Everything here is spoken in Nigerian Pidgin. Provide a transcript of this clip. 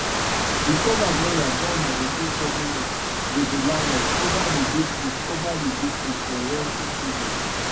de ten ant lawyer don negotiate settlement wit de landlord over de dispute over de dispute for rent increases